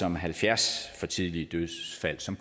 om halvfjerds for tidlige dødsfald som